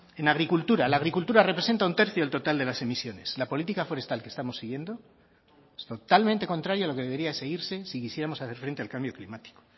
en agricultura la agricultura representa un tercio total de las emisiones la política forestal que estamos siguiendo es totalmente contrario a lo que debería seguirse si quisiéramos hacer frente al cambio climático